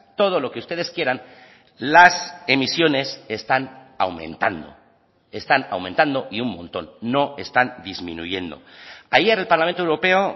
todo lo que ustedes quieran las emisiones están aumentando están aumentando y un montón no están disminuyendo ayer el parlamento europeo